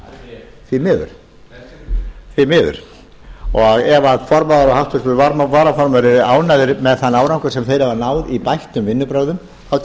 miður reynst mjög árangurslitlir því miður ef formaður og háttvirtur varaformaður eru ánægðir með þann árangur sem þeir hafa náð í bættum vinnubrögðum tek